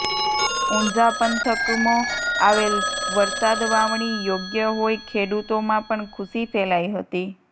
ઊંઝા પંથકમો આવેલ વરસાદ વાવણી યોગ્ય હોઈ ખેડૂતોમાં પણ ખુશી ફેલાઈ હતી